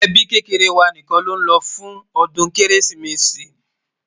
ẹbí kékeré wà nìkan ló ló fún odún kérésìmesì